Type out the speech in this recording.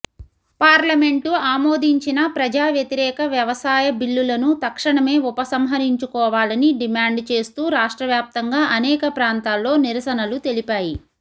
parliament ఆమోదించిన ప్రజావ్యతిరేక వ్యవసాయ బిల్లులను తక్షణమే ఉపసంహరించుకోవాలని డిమాండు చేస్తూ రాష్ట్రవ్యాప్తంగా అనేక ప్రాంతాల్లో నిరసనలు తెలిపాయి